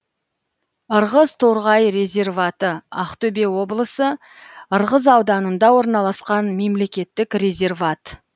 ырғыз торғай резерваты ақтөбе облысы ырғыз ауданында орналасқан мемлекеттік резерват